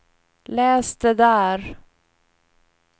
läs det där